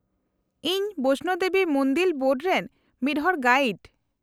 -ᱤᱧ ᱵᱚᱭᱥᱱᱳ ᱫᱮᱵᱤ ᱢᱩᱱᱫᱤᱞ ᱵᱳᱨᱰ ᱨᱮᱱ ᱢᱤᱫ ᱦᱚᱲ ᱜᱟᱭᱤᱰ ᱾